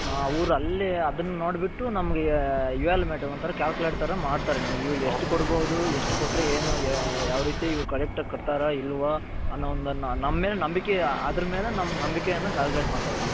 ಅವ್ರು ಅಲ್ಲಿ ಅದುನ್ನ ನೋಡ್ಬುಟ್ಟು ನಮ್ಮಗೆ calculate ತರ ಮಾಡ್ತಾರೆ ನಮ್ಮಗೆ ಎಷ್ಟು ಕೊಡ್ಬೌದು ಎಷ್ಟು ಕೊಟ್ರೆ ಏನು ಯಾವ್ ರೀತಿ ಇವರು ಆಗಿ ಕಟ್ತರ ಇಲ್ವಾ ಅನ್ನೋ ಒಂದು ನಂಬಿಕೆ ನಂಬಿಕೆ ಮೇಲೆ calculate ಮಾಡ್ತಾರೆ ಅವರು .